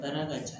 Baara ka ca